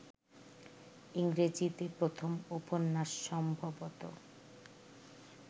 ইংরেজীতে প্রথম উপন্যাস সম্ভবত